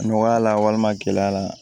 Nɔgɔya la walima gɛlɛya la